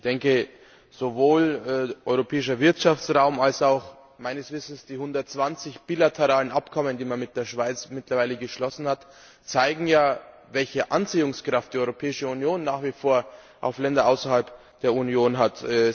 Ich denke, sowohl Europäischer Wirtschaftsraum als auch meines Wissens die 120 bilateralen Abkommen, die man mit der Schweiz mittlerweile geschlossen hat, zeigen ja, welche Anziehungskraft die Europäische Union nach wie vor auf Länder außerhalb der Union hat.